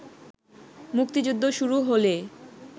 মুক্তিযুদ্ধ শুরু হলে